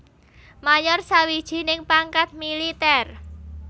Mayor sawijining pangkat militèr